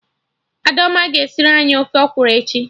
Adaoma ga-esiri anyị ofe ọkwụrụ echi